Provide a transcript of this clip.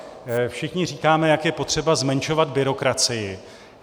Všichni říkáme, jak je potřeba zmenšovat byrokracii.